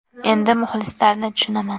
Endi muxlislarni tushunaman.